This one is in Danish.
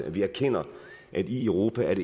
at vi erkender at i europa